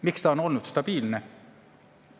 Miks ta on olnud stabiilne?